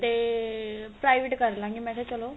ਤੇ private ਕਰ ਲਾਂ ਗੀ ਮੈਂ ਕਿਹਾ ਚਲੋ